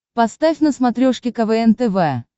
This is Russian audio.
поставь на смотрешке квн тв